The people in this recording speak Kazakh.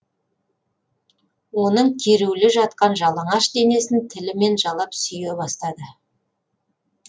оның керулі жатқан жалаңаш денесін тілімен жалап сүйе бастады